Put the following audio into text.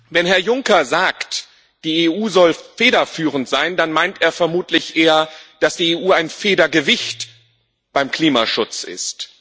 Wenn Herr Juncker sagt, die EU soll federführend sein, dann meint er vermutlich eher, dass die EU ein Federgewicht beim Klimaschutz ist.